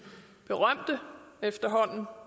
efterhånden